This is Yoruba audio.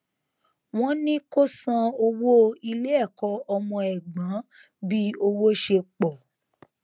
wọn ní kó san owó ilé ẹkọ ọmọ ẹgbọn bí owó ṣe pọ